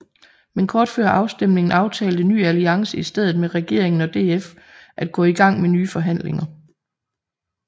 Men kort før afstemningen aftalte Ny Alliance i stedet med regeringen og DF at gå i gang med nye forhandlinger